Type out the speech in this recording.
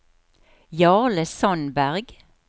Jarle Sandberg